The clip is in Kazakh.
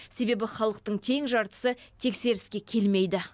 себебі халықтың тең жартысы тексеріске келмейді